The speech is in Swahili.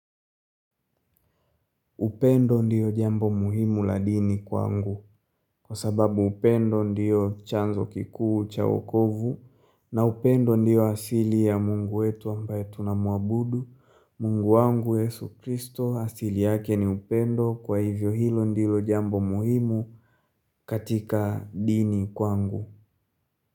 Upendo ndiyo jambo muhimu la dini kwangu, kwa sababu upendo ndiyo chanzo kikuu cha wokovu, na upendo ndiyo asili ya mungu wetu ambae tunamuabudu, mungu wangu Yesu Kristo, asili yake ni upendo kwa hivyo hilo ndilo jambo muhimu katika dini kwa angu.